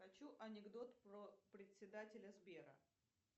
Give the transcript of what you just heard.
хочу анекдот про председателя сбера